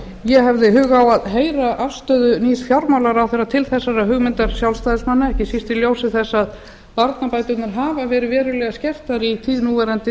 ég hefði hug á að heyra afstöðu nýs fjármálaráðherra til þessarar hugmyndar sjálfstæðismanna ekki síst í ljósi þess að barnabæturnar hafa verið verulega skertar í tíð núv